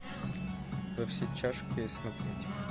во все тяжкие смотреть